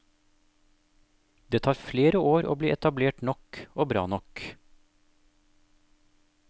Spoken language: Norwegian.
Det tar flere år å bli etablert nok og bra nok.